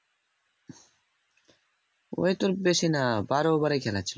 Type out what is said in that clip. ওই তোর বেশি না বারো over খেলা ছিল